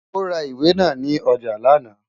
Ó ra ìwé náà ní ọjà lánàá.